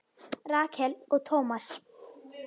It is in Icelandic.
Rakel og Thomas.